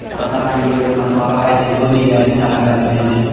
पता नहीं ये लोग मछुवारा है चाहे जो भी है अच्छा लगा देखने में।